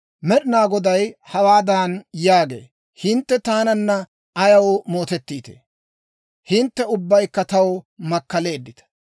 Med'inaa Goday hawaadan yaagee; «Hintte taananna ayaw mootettiitee? Hintte ubbaykka taw makkaleeddita.